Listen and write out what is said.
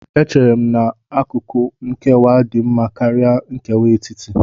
Echere m na akụkụ nkewa dị mma karịa nkewa etiti